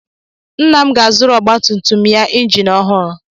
Nna m ga-azụrụ ọgbatumtum ya injin ọhụrụ.